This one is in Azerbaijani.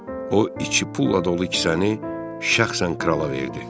O, iki pulla dolu kisəni şəxsən krala verdi.